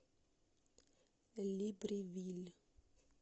либревиль